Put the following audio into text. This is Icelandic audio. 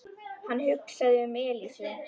Hann hugsaði um Elísu.